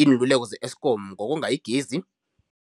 Iinluleko ze-Eskom ngokonga igezi.